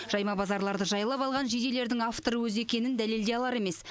жайма базарларды жайлап алған жейделердің авторы өзі екенін дәлелдей алар емес